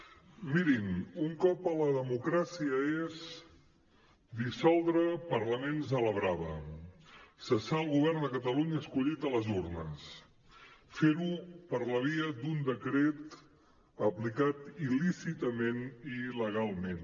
mirin un cop a la democràcia és dissoldre parlaments a la brava cessar el govern de catalunya escollit a les urnes fer ho per la via d’un decret aplicat il·lícitament i il·legalment